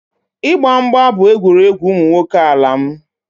Ịgba mgba bụ egwuregwu ụmụ nwoke n'ala m